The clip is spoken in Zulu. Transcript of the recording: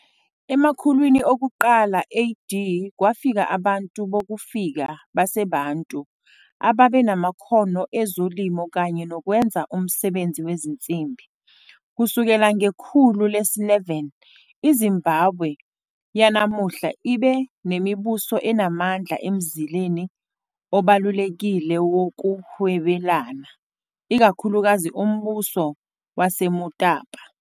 Emakhulwini okuqala AD kwafika abantu bokufika baseBantu ababenamakhono ezolimo kanye nokwenza umsebenzi wezinsimbi. Kusukela ngekhulu le-11, iZimbabwe yanamuhla ibe nemibuso enamandla emzileni obalulekile wokuhwebelana, ikakhulukazi umbuso waseMutapa.